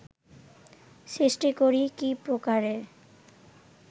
সৃষ্টি করি কী প্রকারে